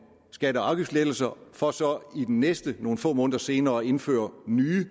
skatte og afgiftslettelser for så i den næste nogle få måneder senere at indføre nye